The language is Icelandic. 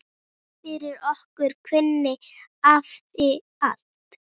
Fyrir okkur kunni afi allt.